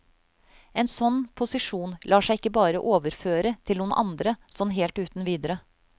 En sånn posisjon lar seg ikke bare overføre til noen andre sånn helt uten videre.